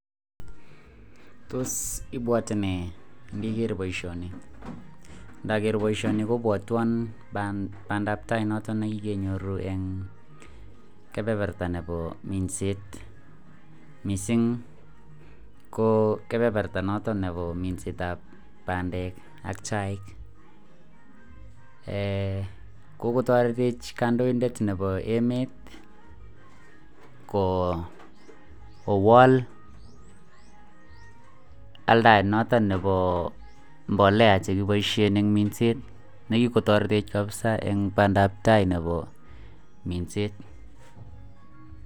Tos ibwote nee ndiker boishoni ndoker boishoni kobwotwon pandap tai nekokenyoru en kepeperta nebo minset missing ko kepeperta noton nebo mindetab pandek ak chaik eeh kokotoretech kondoidet nebo emet ko kowal aldaet noton nebo mbolea nekeboishen en minset nekikotoretevh kabisa en pandap tai nebo minset.